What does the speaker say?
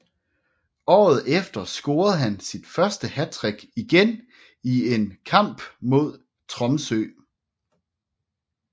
Året efter scorede han sit første hattrick igen i en kmap mod Tromsø